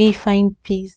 me find peace